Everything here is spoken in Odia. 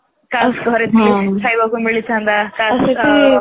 କାସ ଘରେ ଥିଲେ ଖାଇବାକୁ ମିଳିଥାନ୍ତା କାସ